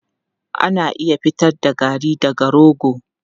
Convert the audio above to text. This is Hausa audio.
Ana iya fitar da garri daga rogo.